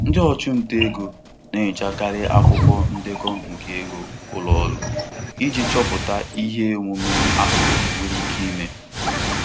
Ndị ọchụnta ego na-enyochakarị akwụkwọ ndekọ nke ego ụlọ ọrụ iji chọpụta ihe omume aghụghọ nwere ike ime.